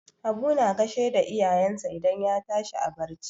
Habu na gashe da iyayensa idan ya tashi a barci.